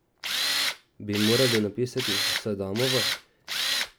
Bi morali napisati Sadamova?